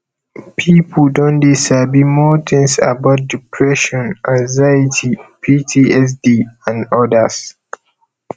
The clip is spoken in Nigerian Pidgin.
people don dey sabi more things about depression anxiety ptsd and odas